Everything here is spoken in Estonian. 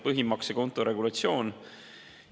Põhimaksekonto regulatsioon.